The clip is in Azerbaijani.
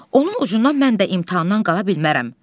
Onun ucundan mən də imtahandan qala bilmərəm.